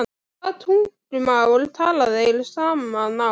Hvaða tungumáli tala þeir saman á?